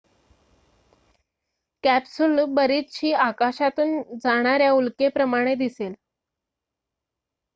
capsule बरीचशी आकाशातून जाणाऱ्या उल्केप्रमाणे दिसेल